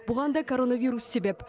бұған да коронавирус себеп